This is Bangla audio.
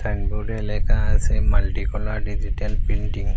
সাইনবোর্ডে লেখা আসে মাল্টি কলার ডিজিটাল প্রিন্টিং ।